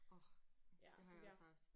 Åh det har jeg også haft